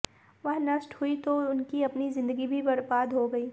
वह नष्ट हुई तो उनकी अपनी जिंदगी भी बरबाद हो गयी